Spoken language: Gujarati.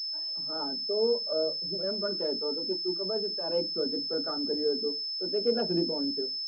હા તો આ હું એમ પણ કેતો હતો કે તું ખબર છે તારા એક project પાર કામ કરી રયો હતો તો એ કેટલા સુધી પહોંચ્યું